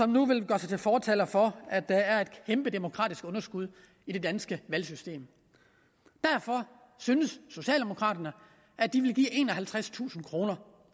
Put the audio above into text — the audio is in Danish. nu gør sig til fortaler for at der er et kæmpe demokratisk underskud i det danske valgsystem derfor synes socialdemokraterne at de vil give enoghalvtredstusind kroner